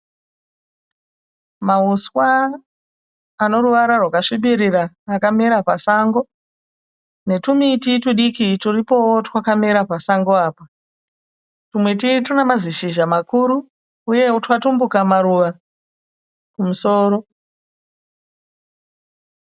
Mahuswa anoruvara rwakasvibirira akamera pasango netwumuti twudiki twuripowo twakamera pasango apa. Twumiti twuna mamazishizha makuru uyewo twatumbuka maruva kumusoro.